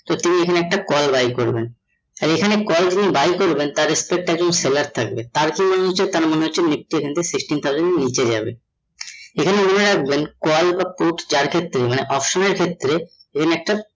so তিনি এখানে একটা call buy করবেন আর এখানে call যিনি buy করবেন তার seller থাকবে নিচে sixteen thousand এর নিচে যাবে । এখানে মনে রাখবেন call বা put যার ক্ষেত্রে